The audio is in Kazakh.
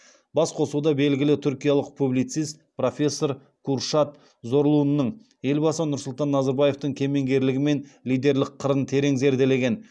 басқосуда белгілі түркиялық публицист профессор куршад зорлуның елбасы нұрсұлтан назарбаевтың кемеңгерлігі мен лидерлік қырын терең зерделеген